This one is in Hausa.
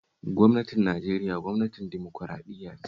Gwamnatin Nigeria gwamnatin dimokuraɗiyya ce